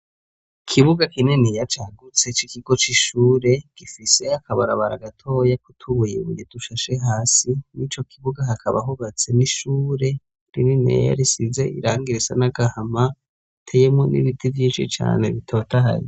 Ikibuga kininiya cagutse c'ikigo c'ishure, gifise akabarabara gatoyi k'utubuye dushashe hasi, mw'ico kibuga hakaba hubatse n'ishure rininiya, risize irangi risa n'agahama, hateyemuwo n'ibiti vyinshi cane bitotahaye.